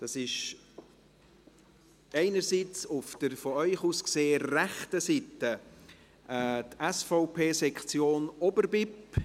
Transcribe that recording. Es handelt sich einerseits, auf der von Ihnen aus gesehenen rechten Seite, um die SVP-Sektion Oberbipp.